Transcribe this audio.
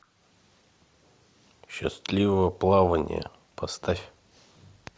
счастливого плавания поставь